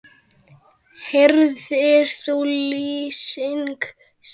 Heyrðir þú lífsins lag?